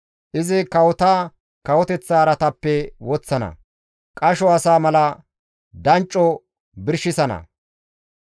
Izi kawota kawoteththa araataappe woththana; qasho asa mala dancco birshisana.